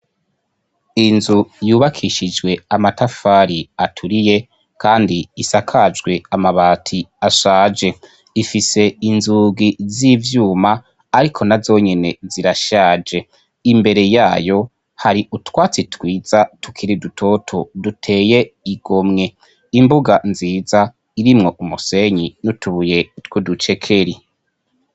Inzu yubakishijwe amatafari aturiye, kandi isakajwe amabati ashaje, ifise inzungi z'ivyuma ariko nazo nyene zirashaje, imbere yayo hari utwatsi twiza tukiri dutoto duteye igomwe, imbuga nziza irimwo umusenyi n'utubuye tw'uducekeri.